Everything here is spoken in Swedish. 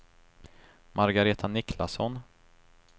Margaretha Niklasson